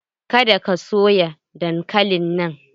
Ka da ka soya dankalin nan!